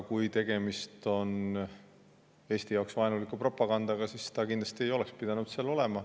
Kui tegemist on Eesti jaoks vaenuliku propagandaga, siis see kindlasti ei oleks pidanud seal olema.